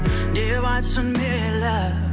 деп айтсын мейлі